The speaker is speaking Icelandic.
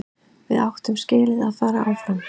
Við áttum skilið að fara áfram.